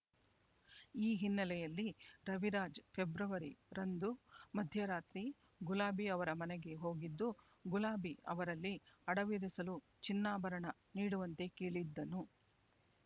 ಈ ಹಿನ್ನೆಲೆಯಲ್ಲಿ ರವಿರಾಜ್ ಫೆಬ್ರವರಿ ರಂದು ಮಧ್ಯರಾತ್ರಿ ಗುಲಾಬಿ ಅವರ ಮನೆಗೆ ಹೋಗಿದ್ದು ಗುಲಾಬಿ ಅವರಲ್ಲಿ ಅಡವಿರಿಸಲು ಚಿನ್ನಾಭರಣ ನೀಡುವಂತೆ ಕೇಳಿದ್ದನು